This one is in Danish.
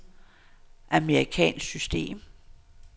amerikansk system